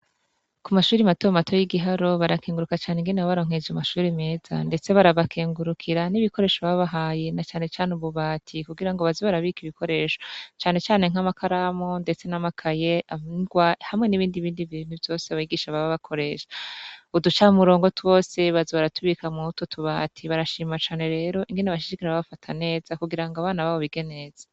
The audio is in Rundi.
Ku mashuri mato mato y'igiharo barakenguruka cane ingene ba baronkeje umashuri meza, ndetse barabakengurukira n'ibikoresho babahaye na canecane ububati kugira ngo bazi barabika ibikoresho canecane nk'amakaramo, ndetse n'amakaye andwa hamwe n'ibindi bindi vintu vyose baigisha baba bakoresha uduca murongo twose baza baratubika mu toutubae ati barashimacane rero ingene bashishikara abafataneza kugira ngo abana babo bigeneza.